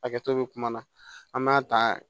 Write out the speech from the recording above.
Hakɛto bɛ kuma na an b'a ta